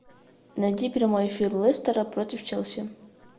найди прямой эфир лестера против челси